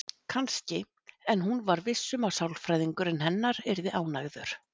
Kannski, en hún var viss um að sálfræðingurinn hennar yrði ánægður.